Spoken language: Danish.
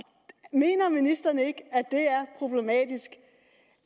mener ministeren ikke at det er problematisk